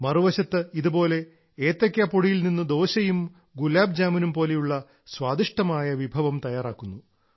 മറുവശത്ത് ഇതുപോലെ ഏത്തയ്ക്കാ പൊടിയിൽ നിന്നും ദോശയും ഗുലാബ് ജാമുനും പോലെയുള്ള സ്വാദിഷ്ഠമായ വിഭവം തയ്യാറാക്കുന്നു